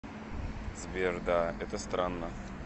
сбер да это странно